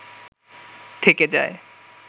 থেকে যায়